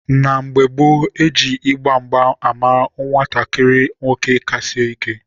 na mgbe gboo, e ji ịgba mgba ama nwatakịrị nwoke ka sie ike.